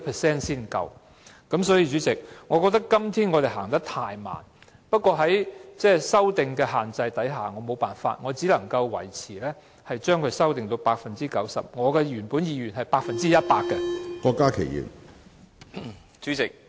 因此，主席，我認為我們今天是走得太慢，但礙於修訂令的限制，我沒有辦法，只能將修正維持在 90%， 即使我原本的意願是百分之一百。